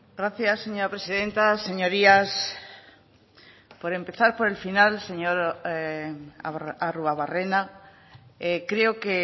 gracias señora presidenta señorías por empezar por el final señor arruabarrena creo que